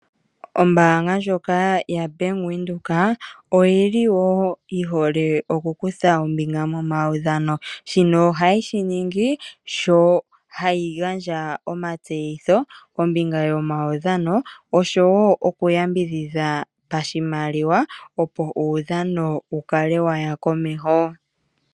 Ombanga ndjoka yaBank Windhoek oyili wo yi hole oku kutha ombinga momawudhano. Shino oha yeshi ningi sho hayi gandja omatseyitho kombinga yomawudhano oshowo oku yambidhidha pashimaliwa opo uudhano wu kale waya komeho.